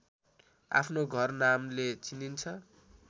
आफ्नो घर नामले चिनिन्छ